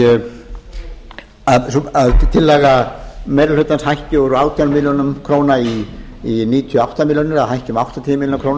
að tillaga meiri hlutans hækki úr átján milljónir króna í níutíu og átta milljónir eða hækki um áttatíu milljónir króna